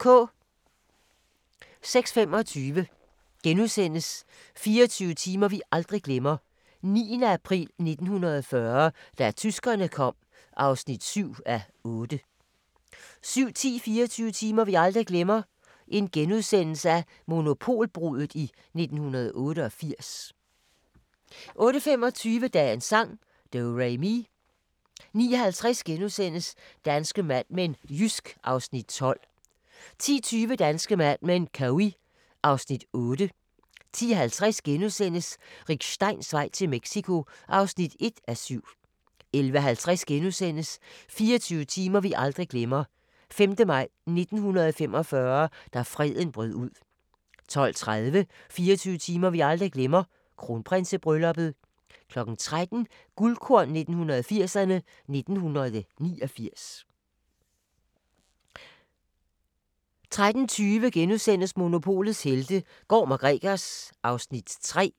06:25: 24 timer vi aldrig glemmer: 9. april 1940 – da tyskerne kom (7:8)* 07:10: 24 timer vi aldrig glemmer: Monopolbruddet i 1988 * 08:25: Dagens sang: Do-re-mi 09:50: Danske Mad Men: Jysk (Afs. 12)* 10:20: Danske Mad Men: Cowey (Afs. 8) 10:50: Rick Steins vej til Mexico (1:7)* 11:50: 24 timer vi aldrig glemmer: 5. maj 1945 – da freden brød ud * 12:30: 24 timer vi aldrig glemmer: Kronprinsebrylluppet 13:00: Guldkorn 1980'erne: 1989 13:20: Monopolets helte - Gorm & Gregers (Afs. 3)*